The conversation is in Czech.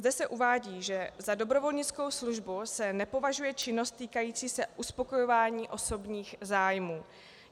Zde se uvádí, že za dobrovolnickou službu se nepovažuje činnost týkající se uspokojování osobních zájmů.